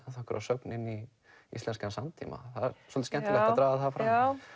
sögn inn í íslenskan samtíma það er svolítið skemmtilegt að draga það fram